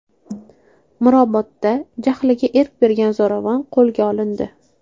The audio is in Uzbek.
Mirobodda jahliga erk bergan zo‘ravon qo‘lga olindi.